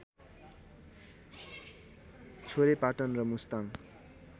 छोरेपाटन र मुस्ताङ